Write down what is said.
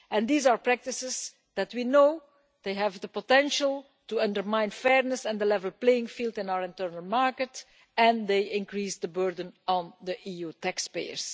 These are practices that we know have the potential to undermine fairness and the level playing field in our internal market and they increased the burden on the EU taxpayers.